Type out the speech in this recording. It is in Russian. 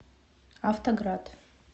автоград